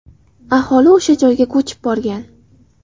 Aholi o‘sha joyga ko‘chib borgan.